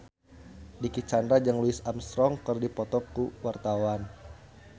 Dicky Chandra jeung Louis Armstrong keur dipoto ku wartawan